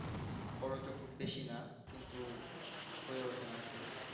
খরচ ও খুব বেশি না কিন্তু হয়ে উঠেনা আসলে